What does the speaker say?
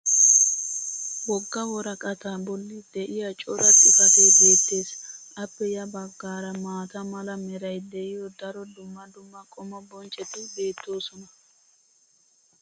woga woraqqataa boli de'iya cora xifatee beetees. appe ya bagaara maata mala meray de'iyo daro dumma dumma qommo bonccoti beetoosona.